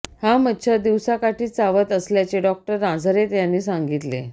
हा मच्छर दिवसाकाठीच चावत असल्याचे डॉक्टर नाझारेथ यांनी सांगितले